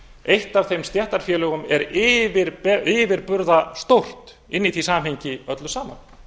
eitt af þeim stéttarfélögum er yfirburðastórt inni í því samhengi öllu saman